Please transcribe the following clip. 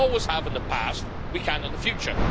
We always have in the past, we can in the future.